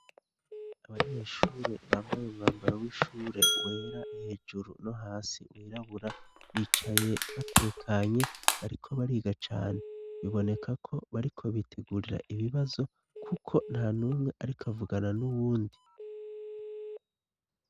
Abanyeshure bambaye umwambaro w'ishure wera hejuru no hasi wirabura, bicaye batekanye bariko bariga cane. Biboneka ko bariko bitegurira ibibazo kuko nta numwe ariko avugana n'uwundi.